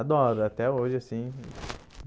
Adoro, até hoje assim.